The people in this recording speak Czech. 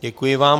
Děkuji vám.